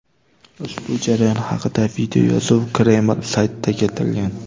Ushbu jarayon haqida videoyozuv Kreml saytida keltirilgan.